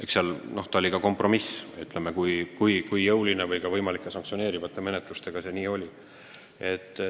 Eks ta oli kompromiss – just nii jõuline või ka võimalike sanktsioneerivate menetlustega, kui see oli.